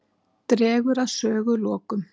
Dregur að sögulokum.